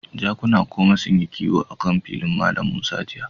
Jakuna goma sunyi kiwo akan filin Mallam Musa jiya.